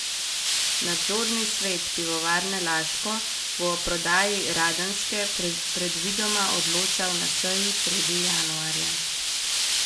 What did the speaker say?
Nadzorni svet Pivovarne Laško bo o prodaji Radenske predvidoma odločal na seji sredi januarja.